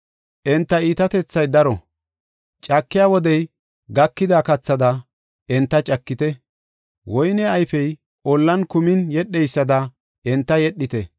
Enta iitatethay daro; caka wodey gakida kathada enta cakite. Woyne ayfey ollan kumin yedheysada, enta yedhite.